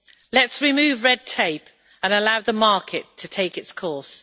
Let's remove red tape and allow the market to take its course.